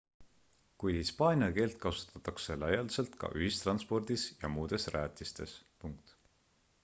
kuid hispaania keelt kasutatakse laialdaselt ka ühistranspordis ja muudes rajatistes